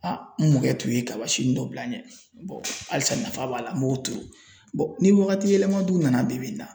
n mɔkɛ tun ye kabasinin dɔ bila n ɲɛ halisa nafa b'a la n b'o turu ni wagati yɛlɛma dun nana bi bi in na.